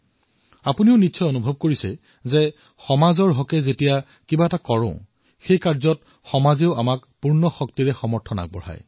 আপোনালোকেও নিজৰ জীৱনত অনুভৱ কৰিছে যেতিয়া সমাজৰ বাবে কিবা কৰা হয় তেতিয়া বহুত কিবা কিবি কৰাৰ শক্তি সমাজে স্বয়ং প্ৰদান কৰে